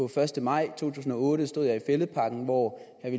første maj to tusind og otte stod jeg i fælledparken hvor herre